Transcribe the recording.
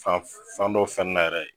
Fan fan dɔ fɛn n'a yɛrɛ